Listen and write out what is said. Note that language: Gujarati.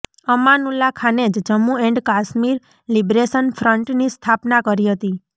અમાનુલ્લા ખાને જ જમ્મૂ એંડ કાશ્મીર લિબ્રેશન ફ્રંટની સ્થાપના કરી હતી